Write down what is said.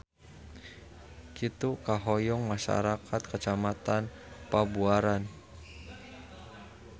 Kitu kahoyong masyarakat Kecamatan Pabuaran.